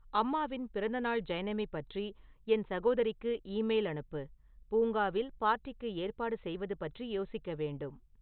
அம்மாவின் பிறந்தநாள் ஜைனமி பற்றி என் சகோதரிக்கு ஈமெயில் அனுப்பு பூங்காவில் பார்ட்டிக்கு ஏற்பாடு செய்வது பற்றி யோசிக்க வேண்டும்